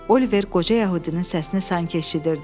Oliver qoca yəhudinin səsini sanki eşidirdi.